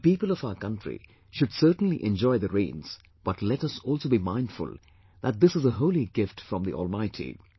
The people of our country should certainly enjoy the rains but let us also be mindful that this is a holy gift from the Almighty